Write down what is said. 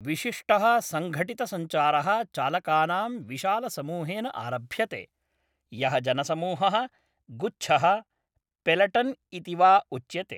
विशिष्टः सङ्घटितसञ्चारः चालकानां विशालसमूहेन आरभ्यते, यः जनसमूहः, गुच्छः, पेलटन् इति वा उच्यते।